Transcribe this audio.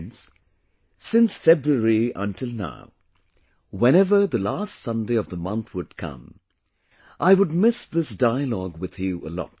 Friends, since February until now, whenever the last Sunday of the month would come, I would miss this dialogue with you a lot